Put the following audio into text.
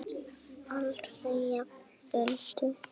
Aldrei jafnoki Öldu.